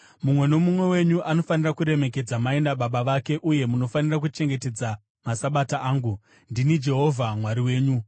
“ ‘Mumwe nomumwe wenyu anofanira kuremekedza mai nababa vake uye munofanira kuchengetedza maSabata angu. Ndini Jehovha Mwari wenyu.